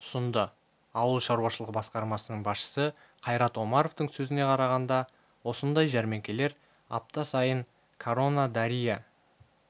ұсынды ауыл шаруашылығы басқармасының басшысы қайрат омаровтың сөзіне қарағанда осындай жәрмеңкелер апта сайын корона дария